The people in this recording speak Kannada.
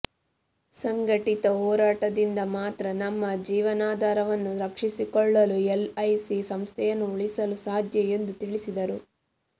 ಸಂಘಟಿತ ಹೋರಾಟದಿಂದ ಮಾತ್ರ ನಮ್ಮ ಜೀವನಾಧಾರವನ್ನು ರಕ್ಷಿಸಿಕೊಳ್ಳಲು ಎಲ್ಐಸಿ ಸಂಸ್ಥೆಯನ್ನು ಉಳಿಸಲು ಸಾಧ್ಯ ಎಂದು ತಿಳಿಸಿದರು